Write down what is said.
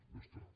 ja està